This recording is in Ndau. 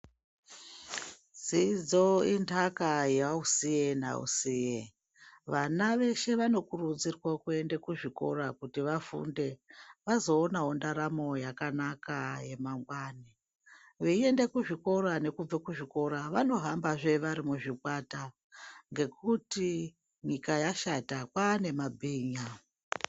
Dzidzo intaka yausiye nausiye vana veshe vanokurudzirwa kuenda kuzvikora kuti vafunde vazoonawo ndaramo yakanaka yemangwani, veienda kuzvikora nekubve kuzvikora vanohamba zvee varimuzvikwata ngekuti nyika yashata kwaane mabhinya.